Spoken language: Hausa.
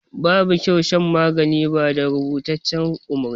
Babu kyau shan magani ba da rubutaccen umarni.